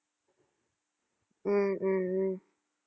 உம் உம் உம்